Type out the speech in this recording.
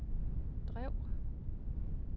drev